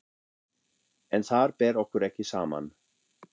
En þar ber okkur ekki saman.